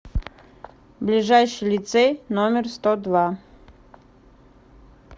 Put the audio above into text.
ближайший лицей номер сто два